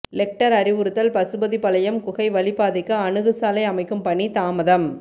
Lecter அறிவுறுத்தல் பசுபதிபாளையம் குகை வழிப்பாதைக்கு அணுகுசாலை அமைக்கும் பணி தாமதம்